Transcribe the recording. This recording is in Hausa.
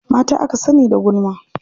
Mata aka sani da gulma.